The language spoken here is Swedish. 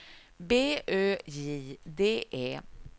B Ö J D E